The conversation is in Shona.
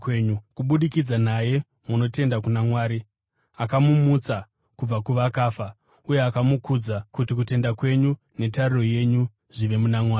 Kubudikidza naye munotenda kuna Mwari, akamumutsa kubva kuvakafa uye akamukudza, kuti kutenda kwenyu netariro yenyu zvive muna Mwari.